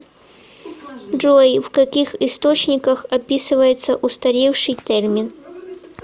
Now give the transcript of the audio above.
джой в каких источниках описывается устаревший термин